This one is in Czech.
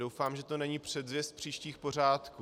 Doufám, že to není předzvěst příštích pořádků.